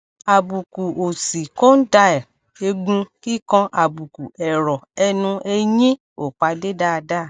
àbùkù òsì condyle egun kikanàbùkù ẹrọ ẹnu eyin o pade daadaa